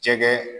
Jɛgɛ